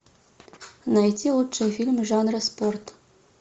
найти лучшие фильмы жанра спорт